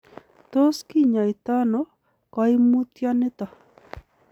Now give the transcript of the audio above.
Tos kinyaita ono koimutioniton?